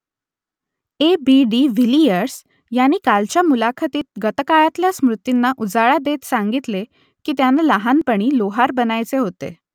ए B de Villiers यांनी कालच्या मुलाखतीत गतकाळातल्या स्मृतींना उजाळा देत सांगितले की त्यांना लहानपणी लोहार बनायचे होते